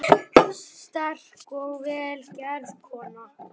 Sterk og vel gerð kona.